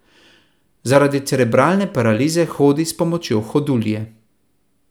Zaradi cerebralne paralize hodi s pomočjo hodulje.